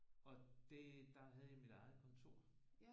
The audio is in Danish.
Og det der havde jeg mit eget kontor